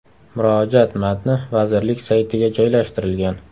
Murojaat matni vazirlik saytiga joylashtirilgan .